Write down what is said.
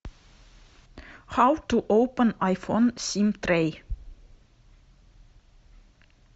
хау ту опен айфон сим трей